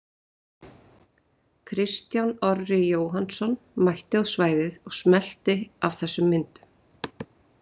Kristján Orri Jóhannsson mætti á svæðið og smellti af þessum myndum.